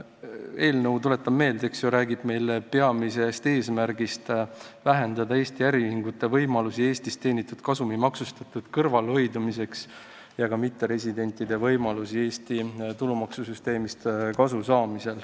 Eelnõu – tuletan meelde – peamine eesmärk on vähendada Eesti äriühingute võimalusi Eestis teenitud kasumi maksustamisest kõrvale hoida ja ka mitteresidentide võimalusi Eesti tulumaksusüsteemist kasu saada.